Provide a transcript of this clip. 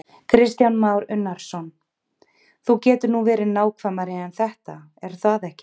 Kristján Már Unnarsson: Þú getur nú verið nákvæmari en þetta er það ekki?